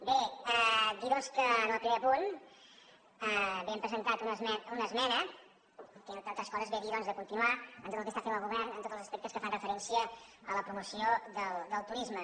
bé dir doncs que en el primer punt hem presentat una esmena que entre altres coses ve a dir de continuar amb tot el que està fent el govern en tots els aspectes que fan referència a la promoció del turisme